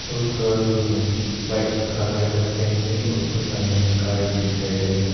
और थोड़ा दूर में व्हाइट कलर का फेंसिंग और उसके सामने में कार भी दिखाई दे रहा--